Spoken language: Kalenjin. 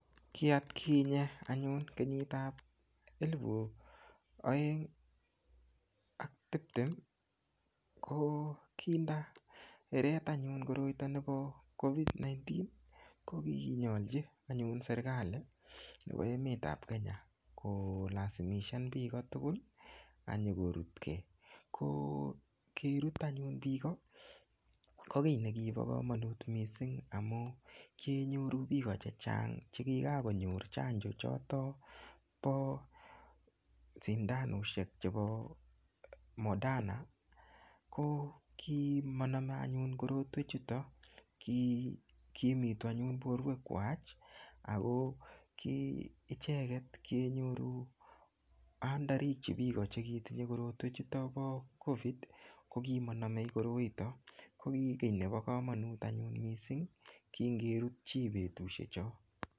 Kiatkinye anyun kenyit ap elipu oeng ak tiptem ko kinda eret anyun koroito nepo COVID-19 ko kinyolchi anyun serikali nepo emet ap Kenya ko lasimishan piko tukuul akinyokorutkei ko kerut anyun piko ko kiy nekipo komonut mising amun kinyoru piko chechang chekikakonyor chanjo choto po sindanoshek chepo modana kokimaname anyun korotwek chuto ko kimitu anyun porwek kwach ako icheket kienyoru andarikchi piko cheketinye korotwek chuto po COVID kokimanamei koroito ko ki kiy nepo komonut anyun mising kingerut chi petushe cho.